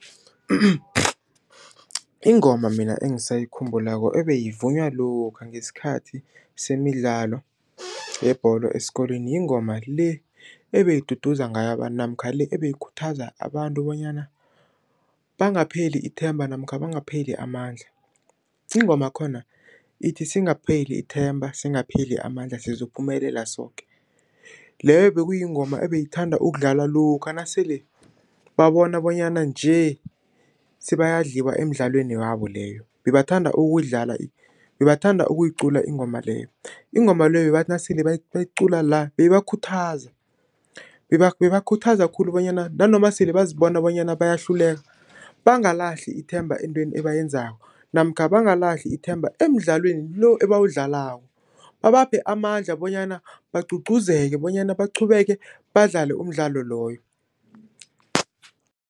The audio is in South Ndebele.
Ingoma mina engisayikhumbulako, ebeyivunywa lokha, ngesikhathi semidlalo yebholo esikolweni, yingoma le, ebeyiduduza ngayo abantu, namkha le, ebeyikhuthaza abantu bonyana bangapheli ithemba, namkha bangapheli amandla. Ingomakhona ithi, singapheli ithemba, singapheli amandla, sizophumelela soke, leyo bekuyingoma ebeyithanda ukudlalwa lokha nasele babona bonyana nje, sebayadliwa emdlalweni wabo leyo. Bebathanda ukuyicula ingoma leyo, ingoma leyo bebathi nasele bayicula la, beyibakhuthaza, beyibakhuthaza khulu bonyana nanoma sele bazibona bonyana bayahluleka, bangalahli ithemba entweni ebayenzako, namkha bangalahli ithemba emdlalweni lo, ebawudlalako. Babaphe amandla bonyana bagcugcuzeke bonyana baqhubeke badlale umdlalo loyo.